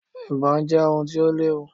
Ibò je ohun ti o léwu